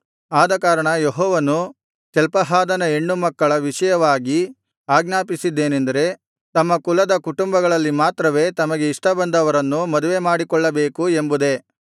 ಆದಕಾರಣ ಯೆಹೋವನು ಚಲ್ಪಹಾದನ ಹೆಣ್ಣುಮಕ್ಕಳ ವಿಷಯವಾಗಿ ಅಜ್ಞಾಪಿಸಿದ್ದೇನೆಂದರೆ ತಮ್ಮ ಕುಲದ ಕುಟುಂಬಗಳಲ್ಲಿ ಮಾತ್ರವೇ ತಮಗೆ ಇಷ್ಟಬಂದವರನ್ನು ಮದುವೆಮಾಡಿಕೊಳ್ಳಬೇಕು ಎಂಬುದೇ